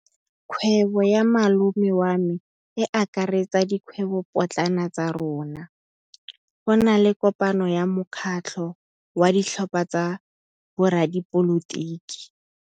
Kgwêbô ya malome wa me e akaretsa dikgwêbôpotlana tsa rona. Go na le kopanô ya mokgatlhô wa ditlhopha tsa boradipolotiki.